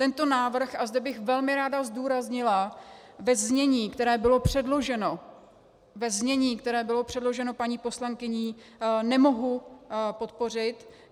Tento návrh, a zde bych velmi ráda zdůraznila, ve znění, které bylo předloženo, ve znění, které bylo předloženo paní poslankyní, nemohu podpořit.